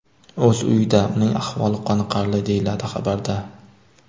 o‘z uyida, uning ahvoli qoniqarli, deyiladi xabarda.